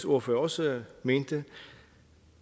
ordfører også mente